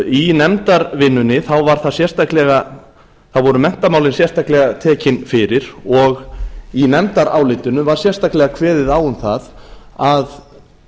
í nefndarvinnunni voru þá menntamálin sérstaklega tekin fyrir og í nefndarálitinu var sérstaklega kveðið á um það að